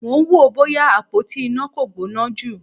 Mò ń wò ó bóyá àpótí iná kò gbóná jù.